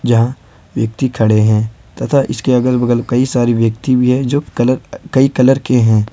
जहां व्यक्ति खड़े हैं तथा इसके अगल बगल कई सारे व्यक्ति भी है जो कलर कई कलर के हैं।